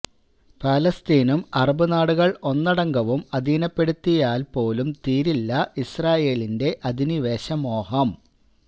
ഫലസ്തീനും അറബ് നാടുകള് ഒന്നടങ്കവും അധീനപ്പെടുത്തിയാല് പോലും തീരില്ല ഇസ്റാഈലിന്റെ അധിനിവേശ മോഹം